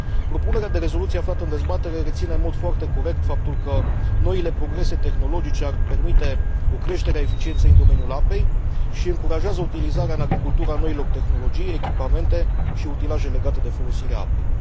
Propunerea de rezoluție aflată în dezbatere reține, în mod foarte corect, faptul că noile progrese tehnologice ar permite o creștere a eficienței în domeniul apei și încurajează utilizarea în agricultură a noilor tehnologii, echipamente și utilaje legate de folosirea apei.